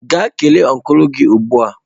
Gaa kelee ọncụl gị ugbu a!